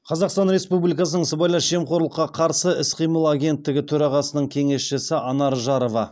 қазақстан республикасының сыбайлас жемқорлыққа қарсы іс қимыл агенттігі төрағасының кеңесшісі анар жарова